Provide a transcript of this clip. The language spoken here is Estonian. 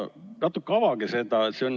Avage seda natuke.